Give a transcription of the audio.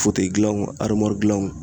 fotɛyi gilanw arimuwari gilanw